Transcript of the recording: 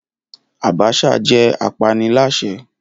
Abacha jẹ́ apaniláṣẹ́